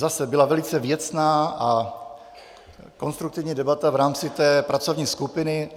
Zase - byla velice věcná a konstruktivní debata v rámci té pracovní skupiny.